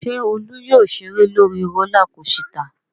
Ṣé Olú yóò ṣeré lórí rólá kosità?